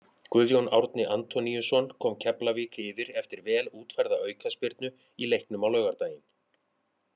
Guðjón Árni Antoníusson kom Keflavík yfir eftir vel útfærða aukaspyrnu í leiknum á laugardaginn.